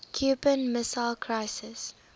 cuban missile crisis